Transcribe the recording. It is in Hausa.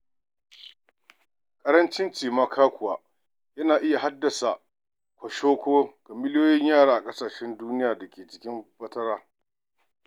Ƙarancin cimaka kuwa yana iya haddasa kwashoko ga miliyoyin yara a ƙasashe duniya da ke cikin fatara.